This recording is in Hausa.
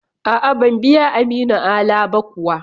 A'a, ban biya Aminu Ala ba kuwa.